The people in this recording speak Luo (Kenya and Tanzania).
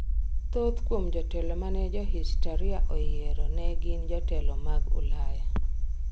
Thoth kuom jotelo mane johistoria oyiero ne gin jotelo mag Ulaya.